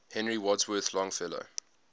henry wadsworth longfellow